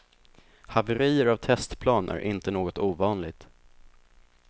Haverier av testplan är inte något ovanligt.